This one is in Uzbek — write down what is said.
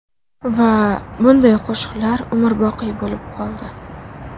Va bunday qo‘shiqlar umrboqiy bo‘lib qoldi.